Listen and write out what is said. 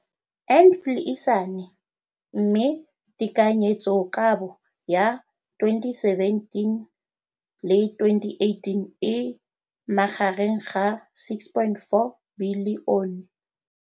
Infleišene, mme tekanyetsokabo ya 2017 le 2018 e magareng ga 6.4 bilione.